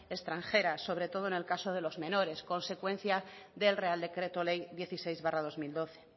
extranjeras sobre todo en el caso de los menores consecuencia del real decreto ley dieciséis barra dos mil doce